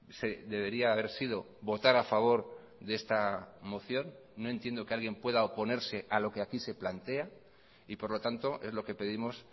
se debería haber sido votar a favor de esta moción no entiendo que alguien pueda oponerse a lo que aquí se plantea y por lo tanto es lo que pedimos